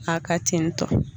A ka tentɔ